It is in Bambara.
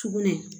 Sugunɛ